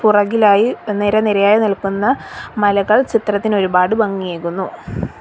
പുറകിലായി നിരനിരയായി നിൽക്കുന്ന മലകൾ ചിത്രത്തിന് ഒരുപാട് ഭംഗിയേകുന്നു.